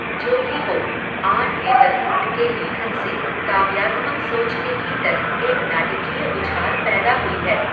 जो भी हो, आन येदरलुण्ड के लेखन से, काव्यात्मक सोच के भीतर, एक नाटकीय उछाल पैदा हुई है